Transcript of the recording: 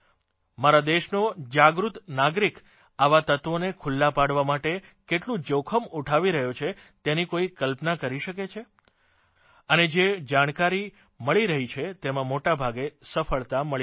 મારા દેશનો જાગૃત નાગરિક આવા તત્વોને ખુલ્લાં પાડવા માટે કેટલું જોખમ ઉઠાવી રહ્યો છે તેની કોઇ કલ્પના કરી શકે છે અને જે જાણકારી મળી રહી છે તેમાં મોટાભાગે સફળતા મળી રહી છે